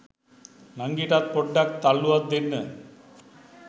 නංගිටත් පොඩ්ඩක් තල්ලුවක් දෙන්න